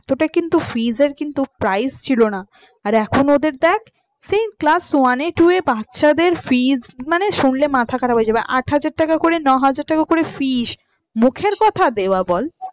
এতটা কিন্তু fees এর কিন্তু price ছিলোনা। আর এখন ওদের দেখ সেই class one এ two এ বাচ্চাদের fees মানে শুনলে মাথা খারাপ হয়ে যাবে। আট হাজার টাকা করেনয় টাকা করে fees মুখের কথা দেওয়া বল